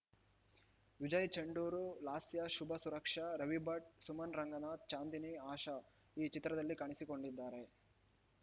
ವಿಜಯ್‌ ಚಂಡೂರು ಲಾಸ್ಯ ಶುಭ ಸುರಕ್ಷಾ ರವಿಭಟ್‌ ಸುಮನ್‌ ರಂಗನಾಥ್‌ ಚಾಂದಿನಿ ಆಶಾ ಈ ಚಿತ್ರದಲ್ಲಿ ಕಾಣಿಸಿಕೊಂಡಿದ್ದಾರೆ